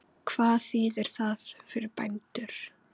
Hvað þýðir það fyrir bændur?